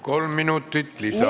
Kolm minutit lisaaega.